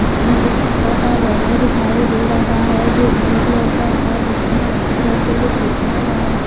इसमें एक छोटा सा बैनर दिखाई दे रहा है जो ब्लू कलर का है जिसमें व्हाइट कलर से कुछ लिखा हुआ है।